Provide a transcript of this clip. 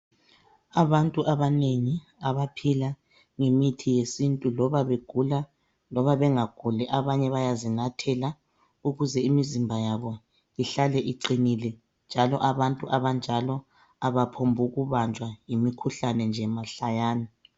Abantu abanengi abaphila ngemithi yesintu loba begula, loba bengaguli abanye bayazinathela ukuze imizimba yabo ihlale iqale iqinile. Njalo abantu abantu abanjalo abaphomb' ukubanjwa yimkhuhlane nje kanjalo mahlayana.